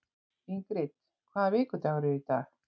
Ingrid, hvaða vikudagur er í dag?